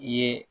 I ye